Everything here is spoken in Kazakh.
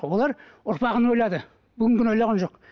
олар ұрпағын ойлады бүгінгіні ойлаған жоқ